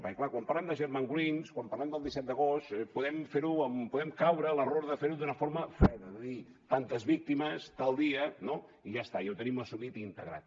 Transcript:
perquè clar quan parlem de germanwings quan parlem del disset d’agost podem caure en l’error de fer ho d’una forma freda de dir tantes víctimes tal dia no i ja està i ja ho tenim assumit i integrat